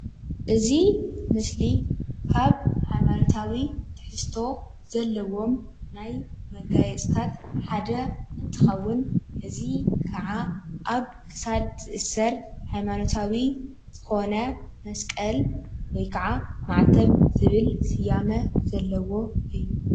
እዚ ምስሊ ካብ ሃይማኖታዊ ትሕዝቶ ዘለዎም ናይ መጋየፂታት ሓደ እንትኸውን እዚ ከዓ አብ ክሳድ ዝእሰር ሃይማኖታዊ ዝኾነ መስቀል ወይ ከዓ ማዕተብ ዝብል ስያሜ ዘለዎ እዩ።